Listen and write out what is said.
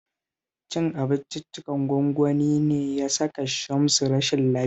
Cin abinciccikan gwangwani ne ya saka Shamsu rashin lafiya